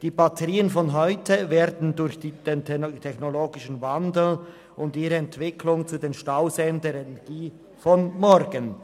Die Batterien von heute werden durch den technologischen Wandel und ihre Entwicklung zu den Stauseen der Energie von morgen.